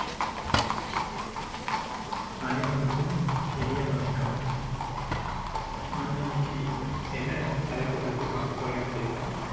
அனைவருக்கும் இனிய வணக்கம் நம்ம இன்னைக்கு என்ன தலைப்பை பத்தி பார்க்க போறோம் அப்படின்னா